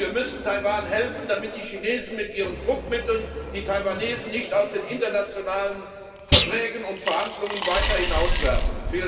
Und wir müssen Taiwan helfen, damit die Chinesen mit ihren Druckmitteln die Taiwanesen nicht aus den internationalen Verträgen und Verhandlungen weiter hinauswerfen.